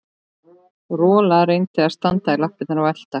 Rola reyndi að standa í lappirnar og elta